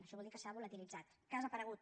això vol dir que s’ha volatilitzat que ha desaparegut